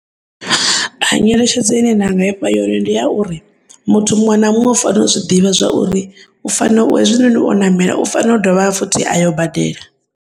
A nyeletshedzo ine nda ngaifha yone ndi yauri, muthu muṅwe na muṅwe u fanela u zwiḓivha zwauri u fano u hezwinoni o namela u fano dovha futhi ayo badela.